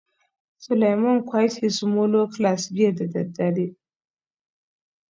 Suleiman quite his molo class jiya da daddare